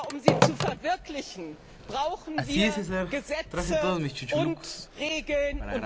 Aber um sie zu verwirklichen, brauchen wir Gesetze und Regeln.